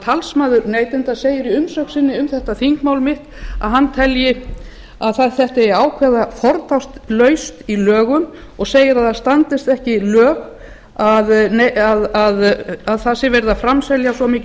talsmaður neytenda segir í umsögn sinni um þetta þingmál mitt að hann telji að þetta eigi að ákveða fortakslaust í lögum og segir að það standist ekki lög að það sé verið að framselja svo mikinn